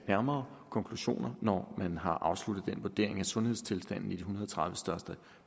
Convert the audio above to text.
nærmere konklusioner når man har afsluttet den vurdering af sundhedstilstanden i hundrede og tredive største